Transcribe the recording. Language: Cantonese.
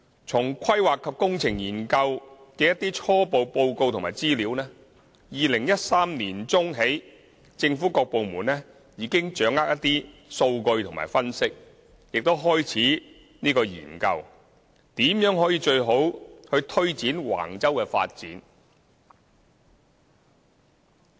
從"規劃及工程研究"的一些初步報告及資料 ，2013 年起政府各部門已經掌握一些數據和分析，亦開始研究如何最好地去推展橫洲的發展。